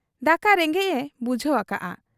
ᱫᱟᱠᱟ ᱨᱮᱸᱜᱮᱡ ᱮ ᱵᱩᱡᱷᱟᱹᱣ ᱟᱠᱟᱜ ᱟ ᱾